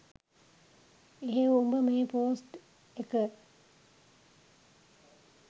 එහෙව් උඹ මේ පෝස්ට් එක